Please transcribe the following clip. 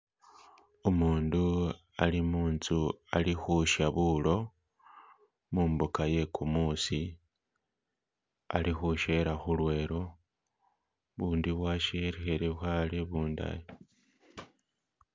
Umundu ali munzu ali khusya buulo mumbuka iye kumuusi, ali khushela khulwelo, ubundi bwashelekhele khale ubundayi.